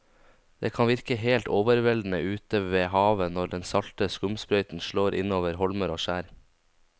Det kan virke helt overveldende ute ved havet når den salte skumsprøyten slår innover holmer og skjær.